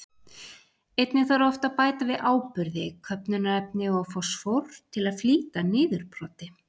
Einnig þarf oft að bæta við áburði, köfnunarefni og fosfór, til að flýta niðurbroti.